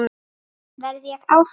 Verð ég áfram?